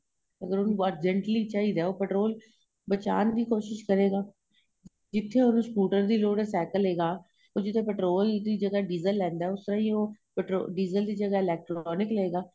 ਅਗ਼ਰ ਉਹਨੂੰ urgently ਚਾਹੀਦਾ ਏ ਉਹ petrol ਬਚਾਣ ਦੀ ਕੋਸ਼ਿਸ ਕਰੇਗਾ ਜਿਥੇ ਉਹਨੂੰ scooter ਦੀ ਲੋੜ ਏ cycle ਲੈਗਾ ਔਰ ਜਿਥੇ petrol ਦੀ ਜਗਾਂ diesel ਲੈਂਦਾ ਏ ਉਸ ਤਰ੍ਹਾਂ ਹੀ diesel ਦੀ ਜਗਾਂ electronic ਲਏਗਾ